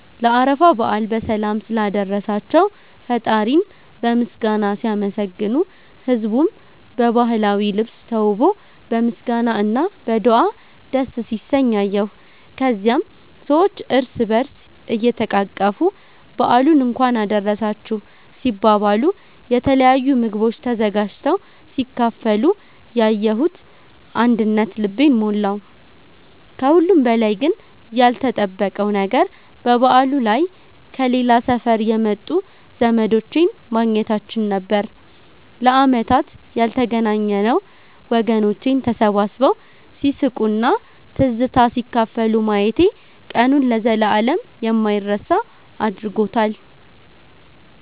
ለአረፋ በዓል በሰላም ስላደረሳቸው ፈጣሪን በምስጋና ሲያመሰግኑ፣ ህዝቡም በባህላዊ ልብስ ተውቦ በምስጋና እና በዱዓ ደስ ሲሰኝ አየሁ። ከዚያም ሰዎች እርስ በእርስ እየተቃቀፉ በዓሉን እንኳን አደረሳችሁ ሲባባሉ፣ የተለያዩ ምግቦች ተዘጋጅተው ሲካፈሉ ያየሁት አንድነት ልቤን ሞላው። ከሁሉም በላይ ግን ያልተጠበቀው ነገር በበዓሉ ላይ ከሌላ ሰፈር የመጡ ዘመዶቼን ማግኘታችን ነበር፤ ለዓመታት ያልተገናኘነው ወገኖቼን ተሰባስበው ሲስቁና ትዝታ ሲካፈሉ ማየቴ ቀኑን ለዘላለም የማይረሳ አድርጎታል።